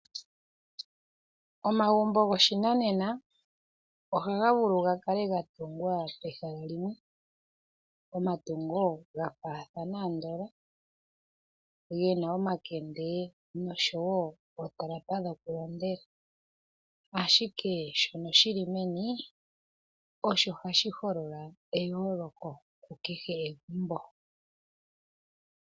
Omagumbo goshinanena ohaga vulu gakale gatungwa pehala limwe pomatungo ga faathana andola gena omakende noshowo ootalapa dhoku londela ashike shono shili meni osho hashi holola eyooloko kukehe egumbo